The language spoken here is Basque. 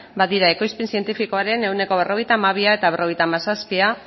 badira ekoizpen zientifikoaren ehuneko berrogeita hamabia eta berrogeita hamazazpia